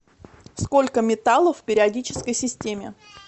сколько металлов в периодической системе